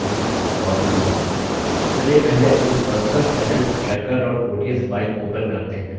चलिए पहले अपनी personalfinancetracker odsफाइल open करते हैं